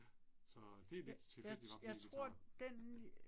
Ja. Så det er virkelig tit det bare bliver vegetar